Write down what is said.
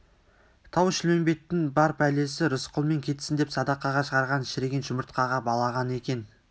тау-шілмембеттің бар пәлесі рысқұлмен кетсін деп садақаға шығарған шіріген жұмыртқаға балаған екен